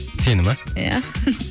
сені ме иә